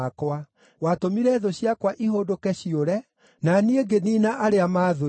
Watũmire thũ ciakwa ihũndũke ciũre, na niĩ ngĩniina arĩa maathũire.